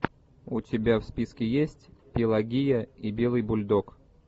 у тебя в списке есть пелагея и белый бульдог